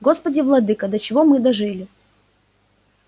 господи владыко до чего мы дожили